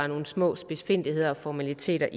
nogle små spidsfindigheder og formaliteter